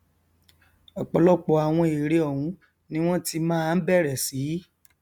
ọpọlọpọ àwọn ère ọhún ni wọn ti máa bẹrẹ sí